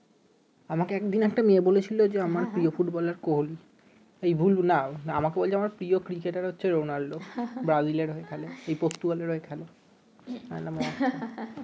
আমাকে একদিন একটা মেয়ে বলেছিল যে আমার প্রিয় ফুটবলার কোহেলি এই ভুল না আমাকে বলছে আমার প্রিয় ক্রিকেটার হচ্ছে রোনালদো ব্রাজিলের হয়ে খেলে এই পর্তুগালের হয়ে খেলে আমি বললাম ও আচ্ছা